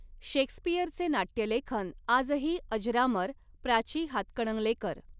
शेक्सपिअरचे नाट्यलेखन आजही अजरामर प्राची हातकणंगलेकर